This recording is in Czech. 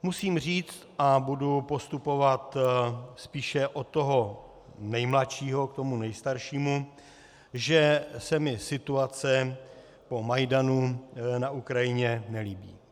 Musím říct, a budu postupovat spíše od toho nejmladšího k tomu nejstaršímu, že se mi situace po Majdanu na Ukrajině nelíbí.